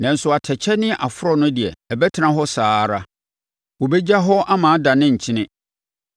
Nanso atɛkyɛ ne aforɔ no deɛ, ɛbɛtena hɔ saa ara. Wɔbɛgya hɔ ama adane nkyene.